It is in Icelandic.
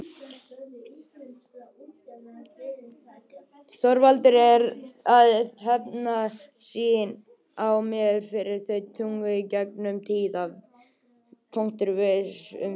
Þorvaldur er að hefna sín á mér fyrir allt tuðið í gegnum tíðina. Viss um það!